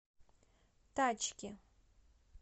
тачки